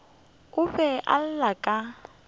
o be a lla ka